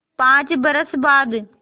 पाँच बरस बाद